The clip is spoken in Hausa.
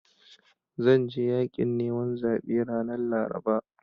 Zan je yaƙin neman zaɓe ranar Laraba.